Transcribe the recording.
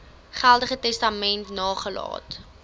geldige testament nagelaat